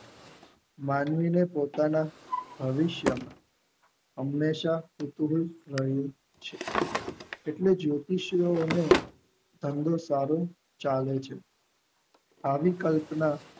માનવીએ પોતાના ભવિષ્ય નું હંમેશા કૂતરું બનવું છે એટલે જ્યોતિષો અને સંડેકરણ ચાલે છે આવી કલ્પના